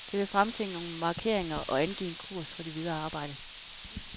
Det vil fremtvinge nogle markeringer og angive en kurs for det videre arbejde.